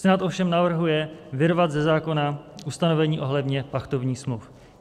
Senát ovšem navrhuje vyrvat ze zákona ustanovení ohledně pachtovních smluv.